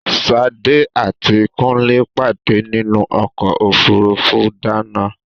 Ṣadé àti Kúnlé pàdé nínú ọ̀kọ̀ ofúrufú Dana